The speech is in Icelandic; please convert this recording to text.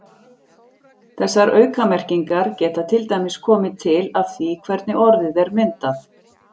Þessar aukamerkingar geta til dæmis komið til af því hvernig orðið er myndað.